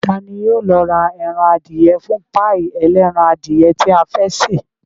Ta ní yóò lọ ra ẹran adìyẹ fún páì ẹlẹ́ran adìyẹ tí a fẹ́ ṣe